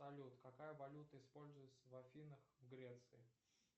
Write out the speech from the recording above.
салют какая валюта используется в афинах в греции